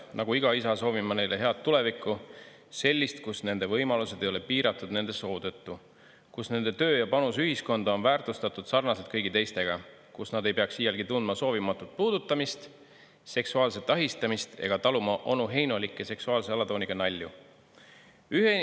Nagu iga isa soovin ma neile head tulevikku, sellist, kus nende võimalused ei ole piiratud nende soo tõttu, kus nende töö ja panus ühiskonda on väärtustatud sarnaselt kõigi teistega, kus nad ei peaks iialgi tundma soovimatut puudutamist, seksuaalset ahistamist ega taluma onuheinolike seksuaalse alatooniga nalju.